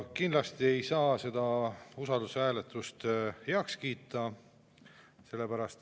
Kindlasti ei saa seda usaldushääletust heaks kiita.